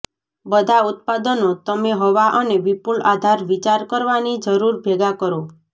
બધા ઉત્પાદનો તમે હવા અને વિપુલ આધાર વિચાર કરવાની જરૂર ભેગા કરો